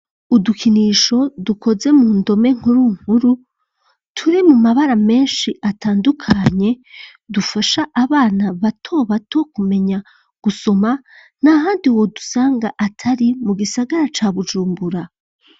Udukinisho, dukoze mu ndome nkuru nkuru, turi mu mabara menshi, atandukanye, dufasha abana, bato bato kumenya, gusoma; nta handi wodusanga, atari, mu gisagara, ca Bujumbura.